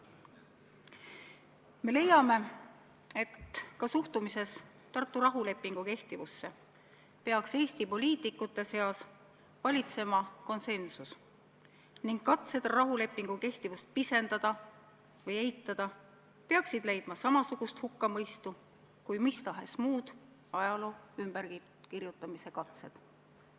Me leiame, et ka suhtumises Tartu rahulepingu kehtivusse peaks Eesti poliitikute seas valitsema konsensus ning katsed rahulepingu kehtivust pisendada või eitada peaksid leidma samasugust hukkamõistu kui mis tahes muud ajaloo ümberkirjutamise katsed.